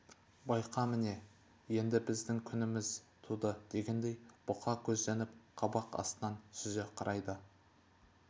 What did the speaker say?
байқа міне енді біздің күніміз туды дегендей бұқа көзденіп қабақ астынан сүзе қарайды